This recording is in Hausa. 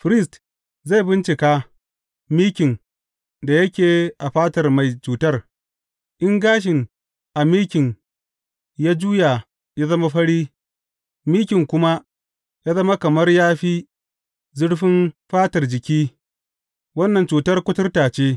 Firist zai bincika mikin da yake a fatar mai cutar, in gashin a mikin ya juya ya zama fari, mikin kuma ya zama kamar ya fi zurfin fatar jiki, wannan cutar kuturta ce.